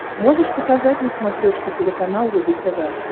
можешь показать на смотрешке телеканал рубль тв